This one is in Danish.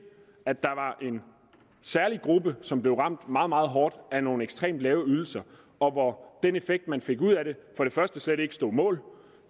at der var en særlig gruppe som blev ramt meget meget hårdt af nogle ekstremt lave ydelser og hvor den effekt man fik ud af det slet ikke stod mål